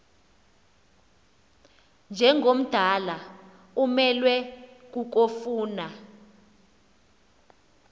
njengomdala umelwe kukofuna